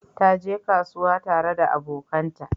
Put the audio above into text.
Ta je kasuwa tare da abokanta.